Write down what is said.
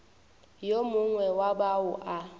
yo mongwe wa bao ba